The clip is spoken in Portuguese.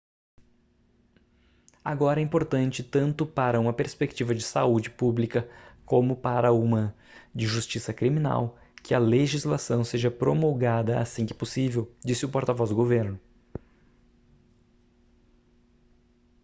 agora é importante tanto para uma perspectiva de saúde pública como para uma de justiça criminal que a legislação seja promulgada assim que possível disse o porta-voz do governo